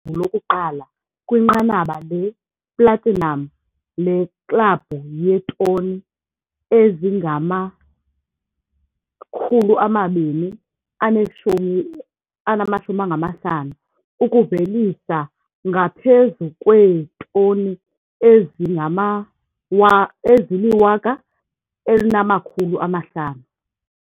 Lokuqala kwinqanaba le-platinum leKlabhu yeeToni ezingama-250, ukuvelisa ngaphezu kweetoni ezili-1 500.